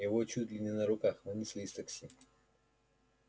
его чуть ли не на руках вынесли из такси